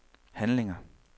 handlinger